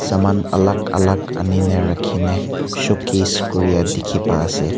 saman alag alag ani na rakhi na showcase koria dekhi pa ase.